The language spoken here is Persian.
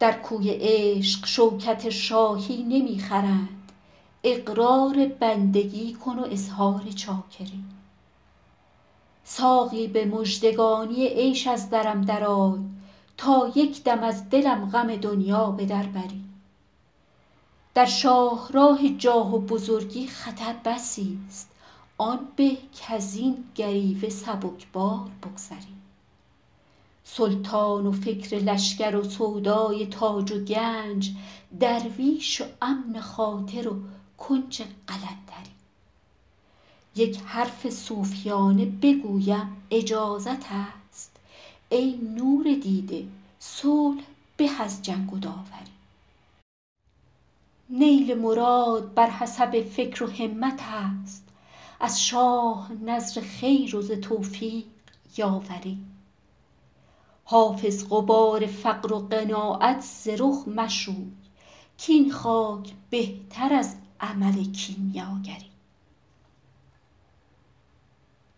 در کوی عشق شوکت شاهی نمی خرند اقرار بندگی کن و اظهار چاکری ساقی به مژدگانی عیش از درم درآی تا یک دم از دلم غم دنیا به در بری در شاه راه جاه و بزرگی خطر بسی ست آن به کز این گریوه سبک بار بگذری سلطان و فکر لشکر و سودای تاج و گنج درویش و امن خاطر و کنج قلندری یک حرف صوفیانه بگویم اجازت است ای نور دیده صلح به از جنگ و داوری نیل مراد بر حسب فکر و همت است از شاه نذر خیر و ز توفیق یاوری حافظ غبار فقر و قناعت ز رخ مشوی کاین خاک بهتر از عمل کیمیاگری